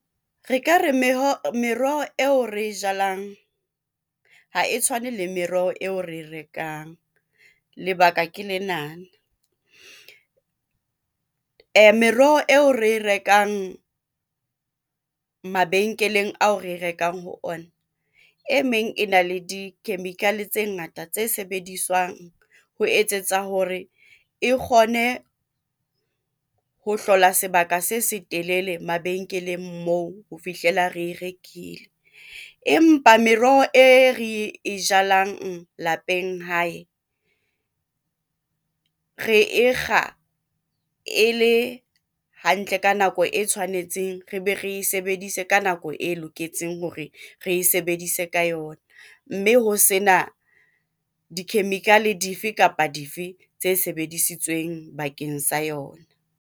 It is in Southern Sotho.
Re ka re meroho eo re e jalang ha e tshwane le meroho eo re e rekang lebaka ke lenana, meroho eo re e rekang mabenkeleng ao re rekang ho ona meng e na le di-chemical tse ngata tse sebediswang ho etsetsa hore e kgone ho hlola sebaka se setelele mabenkeleng moo ho fihlela re e rekile. Empa meroho e re e jalang lapeng hae re e kga e le hantle ka nako e tshwanetseng, re be re e sebedise ka nako e loketseng hore re e sebedise ka yona, mme ho sena di-chemical dife kapa dife tse sebedisitsweng bakeng sa yona.